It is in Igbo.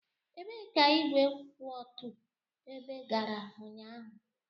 Ebee ka igwe kwụ otu ebe gara ụnyaahụ?